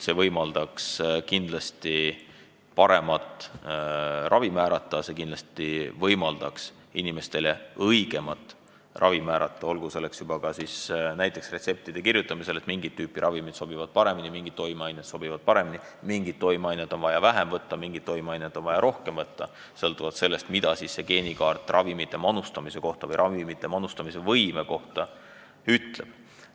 See võimaldaks kindlasti paremat ravi määrata, see võimaldaks inimestele õigemat ravi määrata, kui näiteks retsepti kirjutamisel on teada, et mingit tüüpi ravimid sobivad paremini, mingid toimeained sobivad paremini, mingit toimeainet on vaja vähem võtta või mingit toimeainet on vaja rohkem võtta, sõltuvalt sellest, mida geenikaart ravimite manustamise võime kohta ütleb.